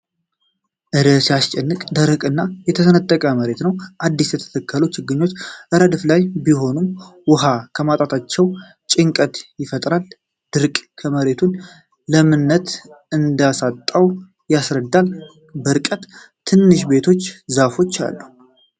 እረ ሲያስጨንቅ! ደረቅ እና የተሰነጠቀ መሬት ነው ። አዲስ የተተከሉ ችግኞች ረድፍ ላይ ቢሆኑም ውሃ በማጣታቸው ጭንቀት ይፈጥራል። ድርቅ የመሬቱን ለምነት እንዳሳጣው ያስረዳል። በርቀት ትናንሽ ቤቶችና ዛፎች አሉ።